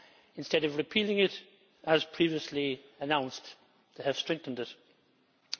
Instead of repealing it, as previously announced, they have strengthened it.